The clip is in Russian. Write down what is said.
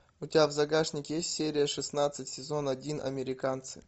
у тебя в загашнике есть серия шестнадцать сезон один американцы